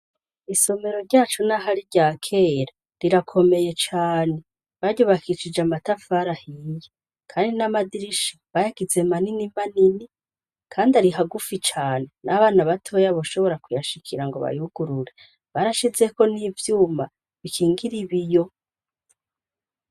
Isomero ryacu na harirya kera rirakomeye cane, baryubakishije amatafari ahiye kandi n'amadirisha bayagize manini manini kandi ari hagufi cane n'abana batoya bashobora kuyashikira ngo bayugurure. Barashizeko n'ivyuma bikingira ibiyo.